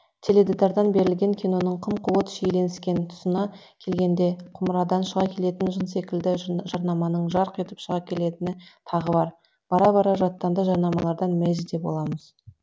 теледидардан берілген киноның қым қуыт шиеленіскен тұсына келгенде құмырадан шыға келетін жын секілді жарнаманың жарқ етіп шыға келетіні тағы бар бара бара жаттанды жарнамалардан мезі де боламыз